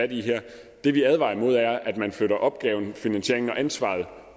i her det vi advarer mod er at man flytter opgaven finansieringen og ansvaret